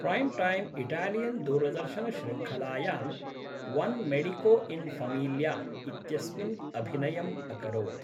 Prime time इटालियन्दूरदर्शनश्रृङ्खलायाम् Un Medico in Famiglia इत्यस्मिन् अभिनयम् अकरोत्।